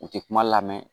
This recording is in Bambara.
U tɛ kuma lamɛn